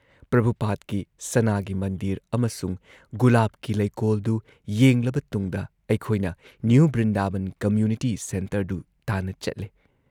ꯄ꯭ꯔꯚꯨꯨꯄꯥꯗꯀꯤ ꯁꯅꯥꯒꯤ ꯃꯟꯗꯤꯔ ꯑꯃꯁꯨꯡ ꯒꯨꯂꯥꯕꯀꯤ ꯂꯩꯀꯣꯜꯗꯨ ꯌꯦꯡꯂꯕ ꯇꯨꯡꯗ ꯑꯩꯈꯣꯏꯅ ꯅ꯭ꯌꯨ ꯕ꯭ꯔꯤꯟꯗꯥꯕꯟ ꯀꯝꯃ꯭ꯌꯨꯅꯤꯇꯤ ꯁꯦꯟꯇꯔꯗꯨ ꯇꯥꯟꯅ ꯆꯠꯂꯦ ꯫